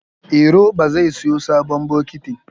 Iro ba zai siyo sabon bokitin